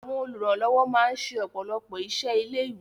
Àwọn olùrànlọ́wọ́ máa ń ṣe ọ̀pọ̀lọpọ̀ iṣẹ́ ilé-ìwé.